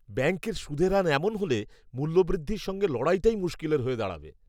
ব্যাঙ্কের সুদের এমন হাল হলে, মুল্যবৃদ্ধির সঙ্গে লড়াটাই মুশকিলের হয়ে দাঁড়াবে।